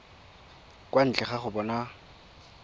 kwa ntle ga go bona